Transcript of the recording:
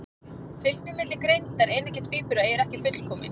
Fylgni milli greindar eineggja tvíbura er ekki fullkomin.